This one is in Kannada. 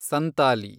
ಸಂತಾಲಿ